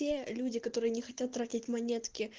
те люди которые не хотят тратить монетки